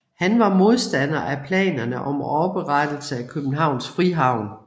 Han var modstander af planerne om oprettelse af Københavns Frihavn